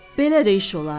Belə də iş olar?